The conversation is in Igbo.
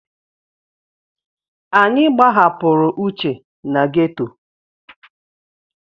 Anyị gbahapụrụ Uche na geto.